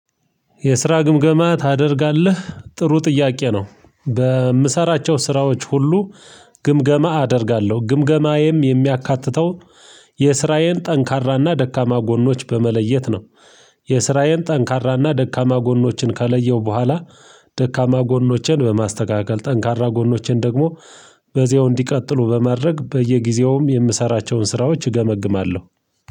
የስራ ግምገማ ታደርጋለ? ጥሩ ጥያቄ ነው በምሰራቸው ስራዎች ሁሉ ግምገማ አደርጋለሁ ግምገማዬም የሚያካትተው የስራየን ጠንካራና ደካማ ጎኖች በመለየት ነው የስራዬን ጠንካራና ደካማ ጎኖችን ከለየሁ በኋላ ደካማ ጎኖቼን በማስተካከል ጠንካራ ጎኖቼን ደግሞ በዚያው እንዲቀጥሉ በማድረግ በየጊዜውም የምሰራቸውን ስራዎች እገመግማለሁ